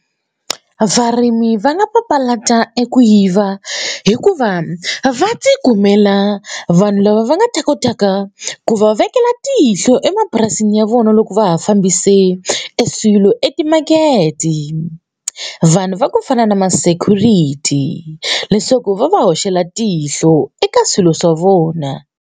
Varimi va nga papalata eku yiva hikuva va tikumela vanhu lava va nga ta kotaka ku va vekela tihlo emapurasini ya vona loko loko va ha fambise eswilo etimakete vanhu va ku fana na ma security leswaku va va hoxela tihlo eka swilo swa vona.